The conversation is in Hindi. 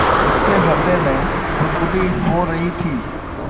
उसके हृदय में गुदगुदी हो रही थी